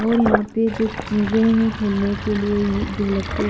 और यहां पे जो चीजें हैं खेलने के लिए जो लगते --